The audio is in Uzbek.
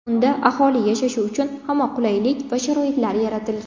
Unda aholi yashashi uchun hamma qulaylik va sharoitlar yaratilgan.